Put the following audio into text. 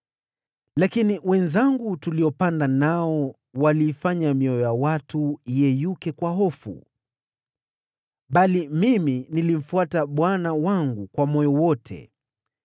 Lakini ndugu zangu tuliopanda nao waliifanya mioyo ya watu iyeyuke kwa hofu. Bali mimi, nilimfuata Bwana Mungu wangu kwa moyo wote.